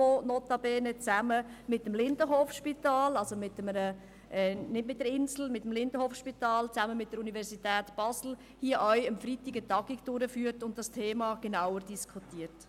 Diese führt mit dem Lindenhofspital und mit der Universität Basel diesen Freitag eine Tagung durch, um dieses Thema zu diskutieren.